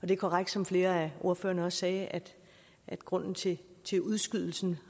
det er korrekt som flere af ordførerne også sagde at grunden til udskydelsen